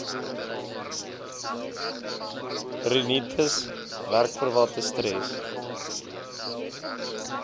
rinitis werkverwante stres